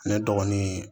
Ne dɔgɔnin